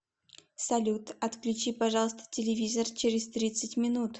салют отключи пожалуйста телевизор через тридцать минут